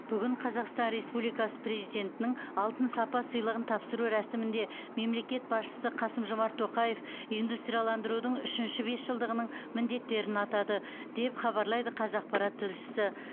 бүгін қазақстан республикасы президентінің алтын сапа сыйлығын тапсыру рәсімінде мемлекет басшысы қасым жомарт тоқаев индустрияландырудың үшінші бесжылдығының міндеттерін атады деп хабарлайды қазақпарат тілшісі